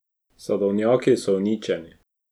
Sadovnjaki so uničeni.